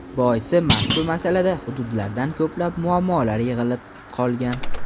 Boisi, mazkur masalada hududlarda ko‘plab muammolar yig‘ilib qolgan.